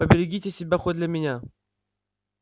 поберегите себя хоть для меня